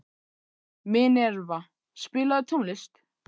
Minerva, spilaðu tónlist.